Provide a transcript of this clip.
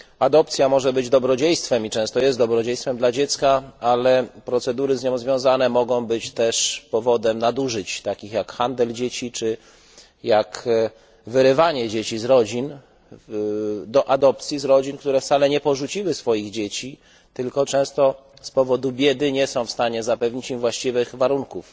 Adopcja może być i często jest dobrodziejstwem dla dziecka, ale procedury z nią związane mogą być też powodem nadużyć, takich jak handel dzieci czy wyrywanie dzieci do adopcji z rodzin, które wcale nie porzuciły swoich dzieci, tylko często z powodu biedy nie są w stanie zapewnić im właściwych warunków.